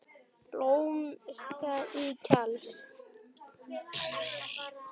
Blómin standa í klasa.